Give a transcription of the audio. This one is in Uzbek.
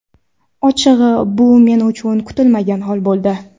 Ochig‘i, bu men uchun kutilmagan hol bo‘ldi.